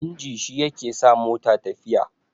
inji shi yake sa mota tafiya